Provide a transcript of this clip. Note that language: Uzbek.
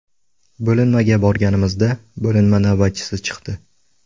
Bo‘linmaga borganimizda bo‘linma navbatchisi chiqdi.